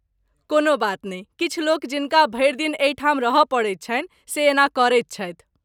कोनो बात नहि, किछु लोक जिनका भरि दिन एहिठाम रहय पड़ैत छनि से एना करैत छथि।